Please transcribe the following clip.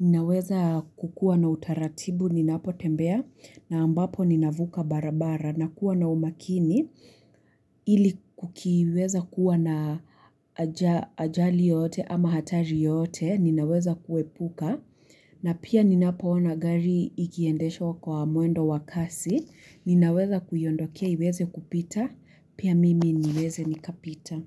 naweza kukua na utaratibu, ninapo tembea, na ambapo ninavuka barabara, na kuwa na umakini, ili kukiweza kuwa na ajali yote ama hatari yote, ninaweza kuepuka, na pia ninapo ona gari ikiendeshwa kwa mwendo wa kasi, ninaweza kuiondokea iweze kupita, pia mimi niweze nikapita.